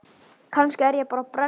Kannski er ég bara brennu